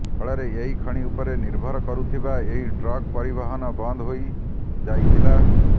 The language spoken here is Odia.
ଫଳରେ ଏହି ଖଣି ଉପରେ ନିର୍ଭର କରୁଥିବା ଏହି ଟ୍ରକ ପରିବହନ ବନ୍ଦ ହୋଇ ଯାଇଥିଲା